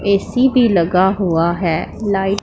AC भी लगा हुआ है लाइट --